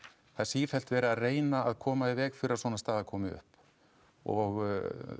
það er sífellt verið að reyna að koma í veg fyrir að svona staða komi upp og